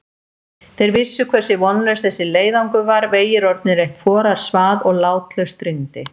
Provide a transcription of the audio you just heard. Þeir vissu hversu vonlaus þessi leiðangur var, vegir orðnir eitt forarsvað og látlaust rigndi.